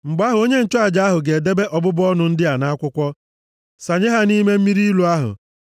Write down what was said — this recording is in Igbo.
“ ‘Mgbe ahụ onye nchụaja ahụ ga-ede ọbụbụ ọnụ ndị a nʼakwụkwọ, sanye ha nʼime mmiri ilu ahụ.